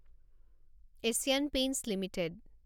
Asian Paints limited